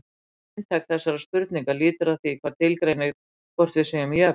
Megininntak þessarar spurningar lítur að því hvað tilgreinir hvort við séum jöfn.